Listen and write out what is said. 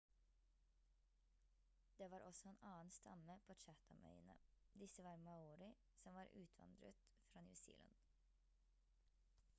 det var også en annen stamme på chathamøyene disse var maori som var utvandret fra new zealand